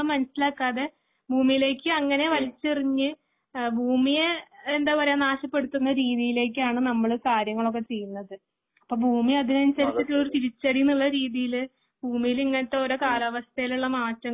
മനസിലാക്കാതെ ഭൂമിയിലേക്ക് അങ്ങനെ വലിച്ചെറിഞ്ഞ് ഭൂമിയെ എന്താ പറയാ നാശപ്പെടുത്തുന്ന രീതിയിലേക്കാണ് നമ്മള് കാര്യങ്ങളൊക്കെ ചെയ്യുന്നത്. അപ്പോ ഭൂമി അതിനനുസരിച്ച് ഒരു തിരിച്ചടി എന്നുള്ള രീതിയില് ഭൂമിയിൽ ഇങ്ങനത്തെ ഓരോ കാലാവസ്ഥയിലുള്ള മാറ്റങ്ങള് ഇപ്പോ